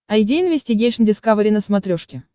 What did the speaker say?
айди инвестигейшн дискавери на смотрешке